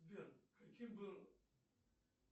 сбер каким был